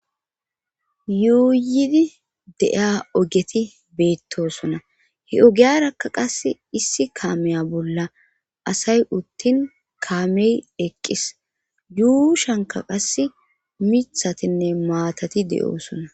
yuuyidi de7iya ogeti beettosona he ogiyarakka qas issi kaameya bolla asay uttin kaamey eqqis yuu shhanka qass mithatinne maatati de7oosona